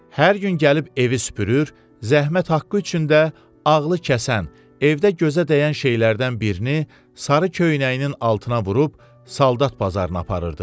Hər gün gəlib evi süpürür, zəhmət haqqı üçün də ağlı kəsən evdə gözə dəyən şeylərdən birini sarı köynəyinin altına vurub soldat bazarına aparırdı.